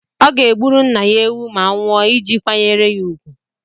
Ọ ga-egburu nna ya ewu ma ọ nwụọ iji kwanyere ya úgwù.